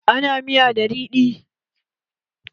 Ana miya da riɗi